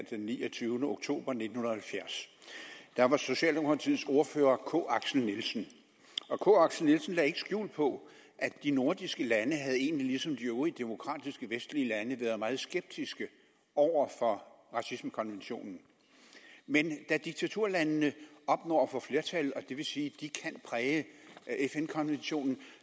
den niogtyvende oktober nitten halvfjerds da var socialdemokratiets ordfører k axel nielsen og k axel nielsen lagde ikke skjul på at de nordiske lande ligesom de øvrige demokratiske vestlige lande været meget skeptiske over for racismekonventionen men da diktaturlandene opnår at få flertal og det vil sige at de kan præge fn konventionen